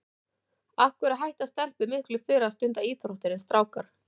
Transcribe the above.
Af hverju hætta stelpur miklu fyrr að stunda íþróttir en strákar?